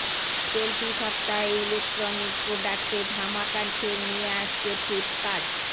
চলতি সপ্তাহে ইলেকট্রনিক প্রোডাক্টে ধামাকা সেল নিয়ে আসছে ফ্লিপকার্ট